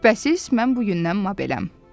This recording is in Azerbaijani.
Şübhəsiz, mən bugündən məbələm.